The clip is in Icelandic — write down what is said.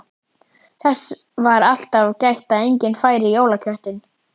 Þess var alltaf gætt að enginn færi í jólaköttinn.